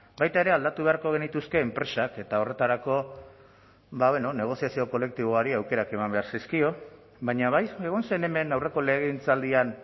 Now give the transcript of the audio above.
baita ere aldatu beharko genituzke enpresak eta horretarako negoziazio kolektiboari aukerak eman behar zaizkio baina bai egon zen hemen aurreko legegintzaldian